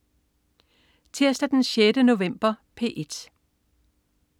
Tirsdag den 6. november - P1: